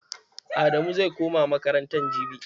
Adamu zai koma makaranta jibi.